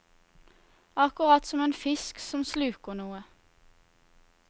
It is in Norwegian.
Akkurat som en fisk som sluker noe.